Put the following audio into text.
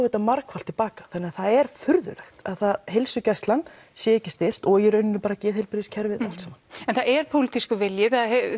þetta margfalt tilbaka þannig að það er furðulegt að heilsugæslan sé ekki styrkt og í rauninni geðheilbrigðiskerfið allt saman en það er pólitískur vilji